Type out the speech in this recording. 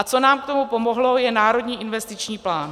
A co nám k tomu pomohlo, je Národní investiční plán.